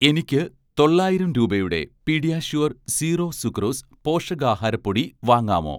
എനിക്ക് തൊള്ളായിരം രൂപയുടെ 'പീഡിയാഷ്യൂർ സീറോ സുക്രോസ്' പോഷകാഹാര പൊടി വാങ്ങാമോ?